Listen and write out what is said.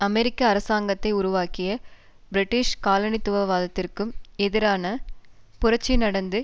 அமெரிக்க அரசாங்கத்தை உருவாக்கிய பிரிட்டிஷ் காலனித்துவவாதத்திற்கு எதிரான புரட்சி நடந்து